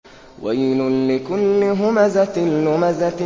وَيْلٌ لِّكُلِّ هُمَزَةٍ لُّمَزَةٍ